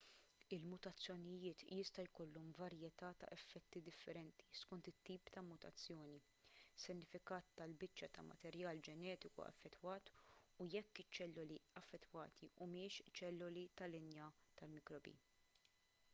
il-mutazzjonijiet jista' jkollhom varjetà ta' effetti differenti skont it-tip ta' mutazzjoni is-sinifikat tal-biċċa ta' materjal ġenetiku affettwat u jekk iċ-ċelloli affettwati humiex ċelloli tal-linja tal-mikrobi